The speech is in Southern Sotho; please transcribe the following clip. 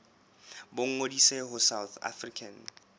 ba ngodise ho south african